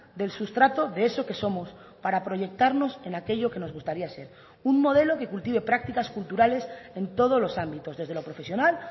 del sustrato de eso que somos para proyectarnos en aquello que nos gustaría ser un modelo que cultive prácticas culturales en todos los ámbitos desde lo profesional